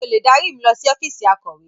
Ṣé o lè dárí mi lọ sí ọ́fíìsì akọ̀we?